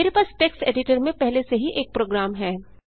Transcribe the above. मेरे पास text editor में पहले से ही एक प्रोग्राम है